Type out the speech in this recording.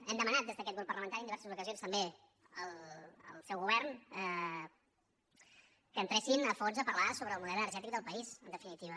hem demanat des d’aquest grup parlamentari en diverses ocasions també al seu govern que entressin a fons a parlar sobre el model energètic del país en definitiva